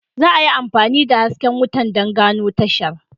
Za a yi amfani da hasken wuta don gano tashar.